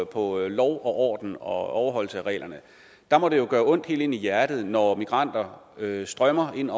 på lov og orden og overholdelse af reglerne må det jo gøre ondt helt ind i hjertet når migranter strømmer ind